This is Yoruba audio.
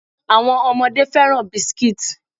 Àwọn ọmọdé fẹ́ràn biscuits.